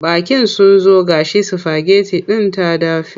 Baƙin sun zo ga shi sifageti din ta dafe.